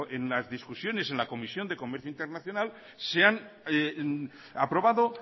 en las discusiones en la comisión de comercio internacional se han aprobado